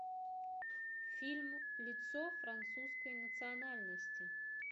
фильм лицо французской национальности